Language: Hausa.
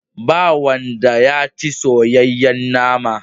Ba wanda ya ci soyayyen nama.